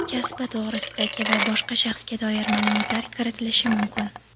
kasbi to‘g‘risidagi va boshqa shaxsga doir maʼlumotlar kiritilishi mumkin.